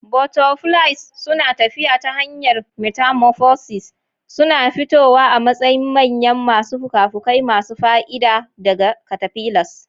Butterflies suna tafiya ta hanyar metamorphosis, suna fitowa a matsayin manya masu fuka-fuki masu fa'ida daga caterpillars.